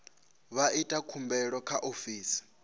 vha ite khumbelo kha ofisi